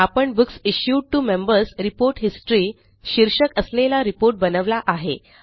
आपण books issued to Members report history शीर्षक असलेला रिपोर्ट बनवला आहे